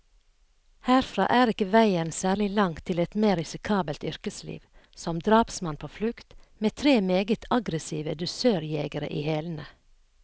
Herfra er ikke veien særlig lang til et mer risikabelt yrkesliv, som drapsmann på flukt, med tre meget aggressive dusørjegere i hælene.